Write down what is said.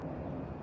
Bura çatır.